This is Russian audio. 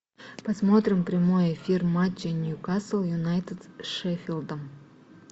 посмотрим прямой эфир матча ньюкасл юнайтед с шеффилдом